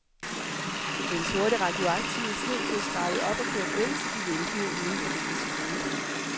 Den sorte radioaktive sne blev skrabet op og kørt væk til de ventende uden for denne zone.